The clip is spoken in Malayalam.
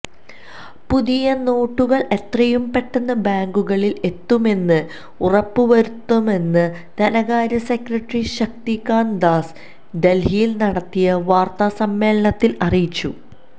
പുതിയ നോട്ടുകള് എത്രയും പെട്ടെന്ന് ബാങ്കുകളില് എത്തുമെന്ന് ഉറപ്പുവരുത്തുമെന്ന് ധനകാര്യ സെക്രട്ടറി ശക്തികാന്ത ദാസ് ദല്ഹിയില് നടത്തിയ വാര്ത്താസമ്മേളനത്തില് അറിയിച്ചു